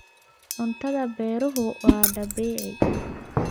Cuntada beeruhu waa dabiici.